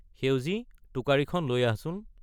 সেউজি টোকাৰীখন লৈ আহছোন।